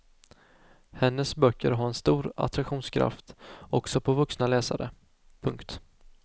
Hennes böcker har en stor attraktionskraft också på vuxna läsare. punkt